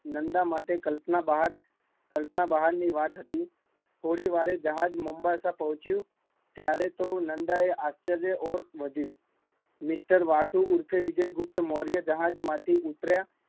નંદા માટે કલ્પના બહાર, કલ્પના બહાર ની વાત, થોડી વાર બાદ જહાજ મામ્બાસા પહોંચ્યું, ત્યારે તો નંદા એ આશ્ચ્ર્ય તરફ ઓર વધિયું મિસ્ટર વાસુ ઉર્ફ વિજયગુપ્તમૌર્ય જહાજ માંથી ઉતર્યા